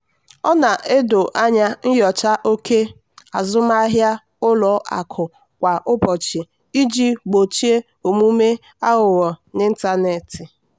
a na-edo anya nyocha oke azụmahịa ụlọ akụ kwa ụbọchị iji gbochie omume aghụghọ n'ịntanetị.